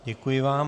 Děkuji vám.